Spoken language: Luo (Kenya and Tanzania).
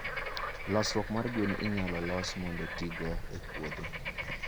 losruok mar gwen inyalo los mondo otigo e puothe.